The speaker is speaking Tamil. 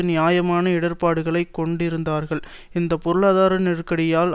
நியாயமான இடர்ப்பாடுகளை கொண்டிருந்தார்கள் இந்த பொருளாதார நெருக்கடியால்